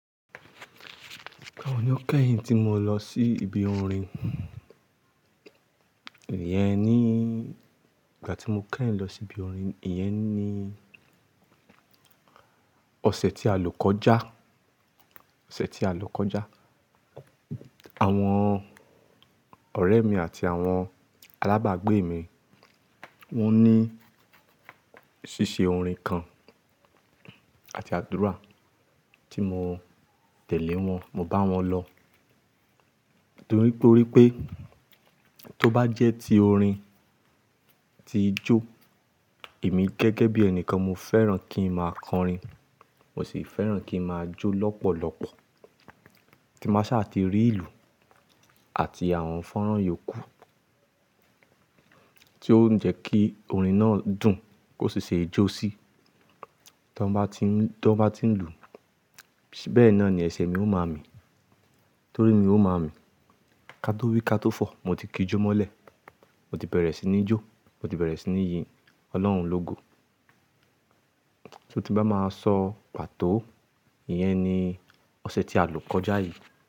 Ìgbà wo ni ó kẹ́yìn tí mo lọ sí ibi orin? Ìyẹn ni ìgbà tí mo kẹ́yìn lọ sí ibi orin, ìyẹn ni ọ̀sẹ̀ tí a lò kọjá, ọ̀sẹ̀ tí a lò kọjá. Àwọn ọ̀rẹ́ mi àti àwọn alábàágbé mi, wọ́n ní ṣíṣe orin kan àti àdúrà tí mo tẹ̀lé wọn, mo bá wọn lọ. Nítorí pé tó bá jẹ́ ti orin ti ijo, èmi gẹ́gẹ́ bí ẹni kan mo fẹ́ràn kí n máa kọrin, mo sì fẹ́ràn kí n máa jó lọ́pọ̀lọ́pọ̀, kí n máa ṣà ti rí ìlù àti àwọn fọ́nrán yòókù tí yóò jẹ́ kí orin náà dùn kó sì ṣe é jó síí. Tí wọ́n bá ti ń, tí wọ́n bá ti ń lù ú, bẹ́ẹ̀ náà ni ẹsẹ̀ mi ó máa mi, torí mi ó máa mi. Ka tó wí ka tó fọ̀, mo ti kí jó mọ́lẹ̀, mo ti bẹ̀rẹ̀ sí ní jó, mo ti bẹ̀rẹ̀ sí ní yin Ọlọ́run lógo. Torí tí bá máa sọ pàtó, ìyẹn ni ọ̀sẹ̀ tí a lò kọjá yìí.